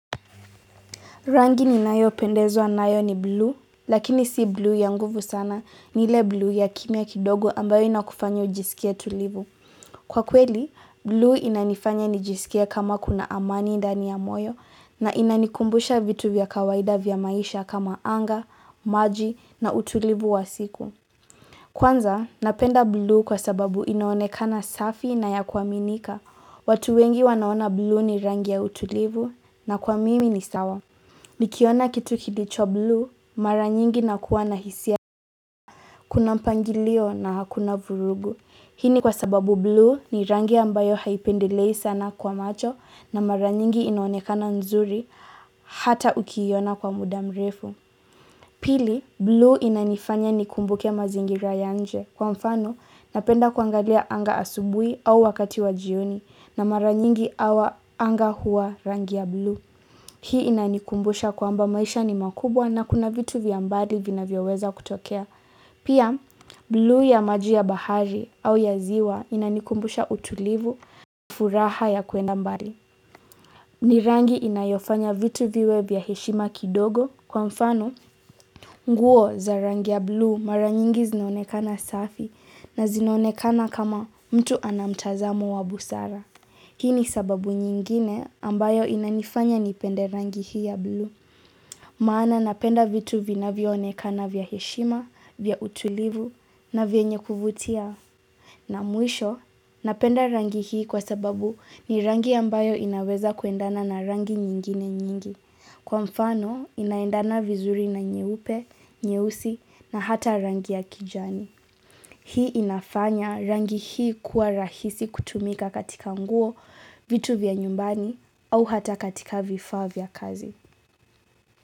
Rangi ni nayo pendezwa nayo ni blu, lakini sio blu ya nguvu sana ni ile blu ya kimya kidogo ambayo inakufanya ujisikie tulivu. Kwa kweli, blu inanifanya nijisikie kama kuna amani ndani ya moyo na inanikumbusha vitu vya kawaida vya maisha kama anga, maji na utulivu wa siku. Kwanza, napenda blu kwa sababu inaonekana safi na ya kuaminika. Watu wengi wanaona blu ni rangi ya utulivu na kwa mimi ni sawa. Nikiona kitu kilicho blue, mara nyingi nakuwa na hisia Kuna mpangilio na hakuna vurugu Hii ni kwasababu blu ni rangi ambayo haipendelei sana kwa macho na mara nyingi inaonekana nzuri hata ukiiona kwa mudamrefu Pili, blu inanifanya nikumbuke mazingira ya nje Kwa mfano, napenda kuangalia anga asubuhi au wakati wa jioni na mara nyingi anga huwa rangi ya blu Hii inanikumbusha kwamba maisha ni makubwa na kuna vitu vyambali vinavyoweza kutokea. Pia, blu ya maji ya bahari au ya ziwa inanikumbusha utulivu, furaha ya kwenda mbali. Ni rangi inayofanya vitu viwe vya heshima kidogo kwa mfano. Nguo za rangi ya blu mara nyingi zinaonekana safi na zinaonekana kama mtu anamtazamo wa busara. Hii ni sababu nyingine ambayo inanifanya nipende rangi hii ya blu. Maana napenda vitu vinavyoonekana vya heshima, vya utulivu na vyenye kuvutia. Na mwisho, napenda rangi hii kwa sababu ni rangi ambayo inaweza kuendana na rangi nyingine nyingi. Kwa mfano, inaendana vizuri na nyeupe, nyeusi na hata rangi ya kijani. Hii inafanya rangi hii kuwa rahisi kutumika katika nguo vitu vya nyumbani au hata katika vifaa vya kazi.